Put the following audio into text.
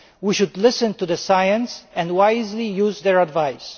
We should listen to the scientists and wisely use their advice.